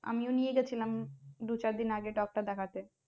আমিও নিয়ে গেছিলাম দু চার দিন আগে doctor দেখাতে